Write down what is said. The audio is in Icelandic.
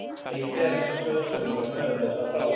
Einnig er hægt að sjóða stönglana eða nota hráa.